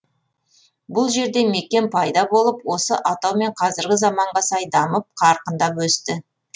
бұл жерде мекен пайда болып осы атаумен қазіргі заманға сай дамып қарқындап өсті